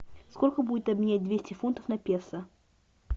сколько будет обменять двести фунтов на песо